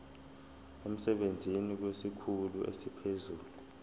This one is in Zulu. emsebenzini kwesikhulu esiphezulu